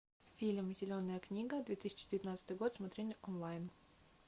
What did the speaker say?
фильм зеленая книга две тысячи девятнадцатый год смотреть онлайн